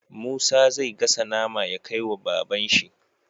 Musa zai gasa nama ya kai wa baban shi